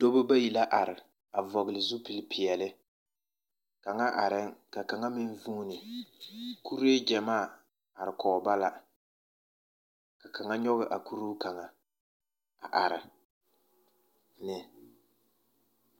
Dɔba bayi la are a vɔgele zupilpeɛle. Kaŋa arɛŋ, ka kaŋa meŋ vuuni. Kuree gyamaa are kɔg ba la, ka kaŋa nyɔge a kuree kaŋa a are, ne.